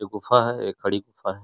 ये गुफा है। एक खड़ी गुफा है।